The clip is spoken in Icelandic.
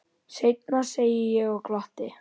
Seinna, segi ég og glotti.